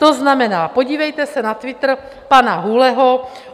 To znamená, podívejte se na Twitter pane Hůleho.